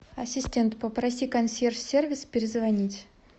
ассистент попроси консьерж сервис перезвонить